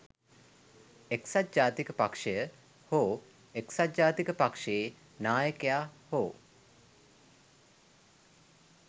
එක්සත් ජාතික පක්ෂය හෝ එක්සත් ජාතික පක්ෂයේ නායකයා හෝ